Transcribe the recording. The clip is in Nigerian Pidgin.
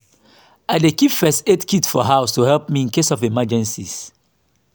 i dey keep first aid kit for house to help me in case of emergencies.